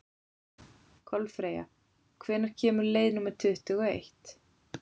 Kolfreyja, hvenær kemur leið númer tuttugu og eitt?